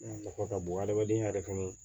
Nafa ka bon adamadenya yɛrɛ kɔnɔ